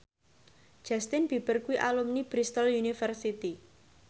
Justin Beiber kuwi alumni Bristol university